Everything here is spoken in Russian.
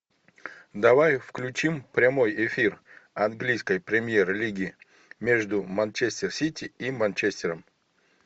давай включим прямой эфир английской премьер лиги между манчестер сити и манчестером